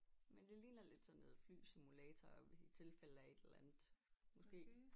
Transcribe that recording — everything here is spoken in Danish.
Men det ligner lidt sådan noget flysimulator i tilfælde af et eller andet måske